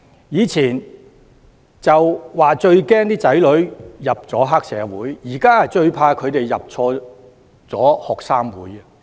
以往說最擔心子女加入黑社會，現時則最怕他們加入學生會。